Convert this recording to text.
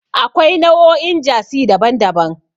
Akwai nau'o'in Jasi daban-daban.